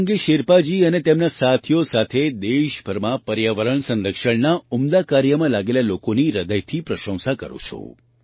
હું સંગે શેરપાજી અને તેમના સાથીઓ સાથે દેશભરમાં પર્યાવરણ સંરક્ષણના ઉમદા કાર્યમાં લાગેલા લોકોની હૃદયથી પ્રશંસા કરું છું